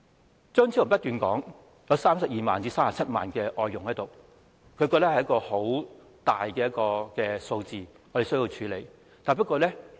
張超雄議員不斷說，香港有32萬至37萬名外傭，認為這是一個十分龐大的數字，我們必須處理。